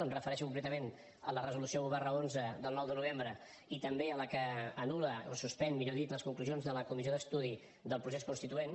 em refereixo concretament a la resolució un xi del nou de novembre i també a la que anul·la o suspèn millor dit les conclusions de la comissió d’estudi del procés constituent